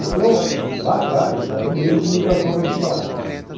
Então, lá atrás, era o meio de comunicação para Atibaia.